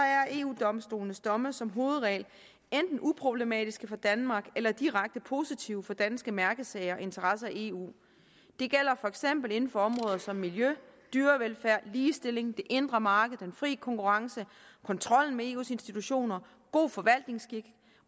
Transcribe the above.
er eu domstolens domme som hovedregel enten uproblematiske for danmark eller direkte positive for danske mærkesager og interesser i eu det gælder for eksempel inden for områder som miljø dyrevelfærd ligestilling det indre marked den fri konkurrence kontrollen med eus institutioner god forvaltningsskik